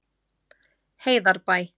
Heiðarbæ